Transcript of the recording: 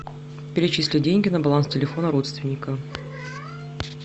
перечисли деньги на баланс телефона родственника